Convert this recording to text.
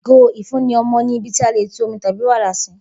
Igo ifunni ọmọ ni ibi ti a le tú omi tabi wara si